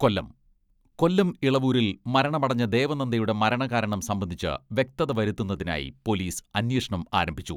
കൊല്ലം, കൊല്ലം ഇളവൂരിൽ മരണമടഞ്ഞ ദേവനന്ദയുടെ മരണകാരണം സംബന്ധിച്ച് വ്യക്തത വരുത്തുന്നതിനായി പോലീസ് അന്വേഷണം ആരംഭിച്ചു.